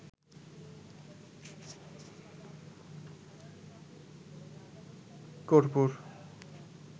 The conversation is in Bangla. কর্পূর